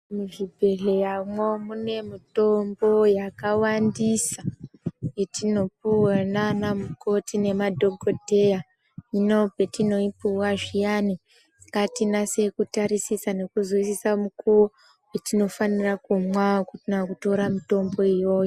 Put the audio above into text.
Muzvibhedhleya mwo mune mutombo yakawandisa yetinopuwa nanamukoti nema dhokodheya, hino petinoyi puwa zviyani ngatinase kutarisisa nekuzwisisa mukuwo wetinofanira kumwa kana kutora mutombo iyoyo.